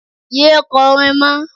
Yé é kọrin mọ́.